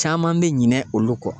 Caman bɛ ɲinɛ olu kɔ.